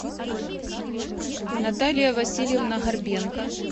наталья васильевна горбенко